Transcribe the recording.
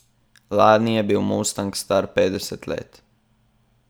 Lani je bil mustang star petdeset let.